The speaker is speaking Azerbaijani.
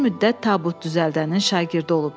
Bir müddət tabut düzəldənin şagirdi olub.